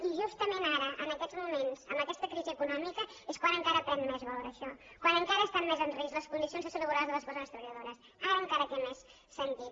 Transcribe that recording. i justament ara en aquests moments amb aquesta crisi econòmica és quan encara pren més valor això quan encara estan més en risc les condicions de salut laboral de les persones treballadores ara encara té més sentit